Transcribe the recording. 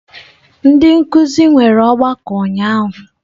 Ndị nkuzi nwere ọgbakọ ụnyahụ.